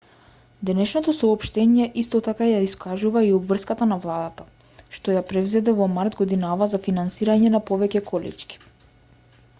денешното соопштение исто така ја искажува и обврската на владата што ја презеде во март годинава за финансирање на повеќе колички